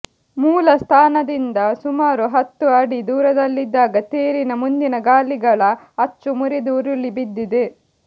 ಮೂಲ ಸ್ಥಾನದಿಂದ ಸುಮಾರು ಹತ್ತು ಅಡಿ ದೂರದಲ್ಲಿದ್ದಾಗ ತೇರಿನ ಮುಂದಿನ ಗಾಲಿಗಳ ಅಚ್ಚು ಮುರಿದು ಉರುಳಿ ಬಿದ್ದಿದೆ